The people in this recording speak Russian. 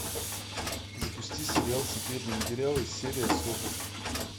запусти сериал секретные материалы серия сорок